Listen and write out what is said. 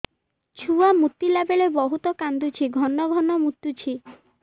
ଛୁଆ ମୁତିଲା ବେଳେ ବହୁତ କାନ୍ଦୁଛି ଘନ ଘନ ମୁତୁଛି